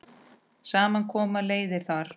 Saman koma leiðir þar.